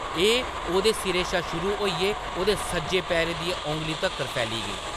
एह्‌‌ ओह्‌‌‌दे सिरै शा शुरू होइयै ओह्‌दे सज्जे पैरै दियें औंगलियें तक्कर फैली गेई ।